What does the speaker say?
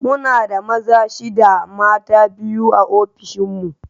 Muna da maza shida mata biyu a ofishin mu